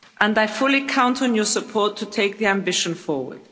I fully count on your support to take the ambition forward.